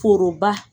Foroba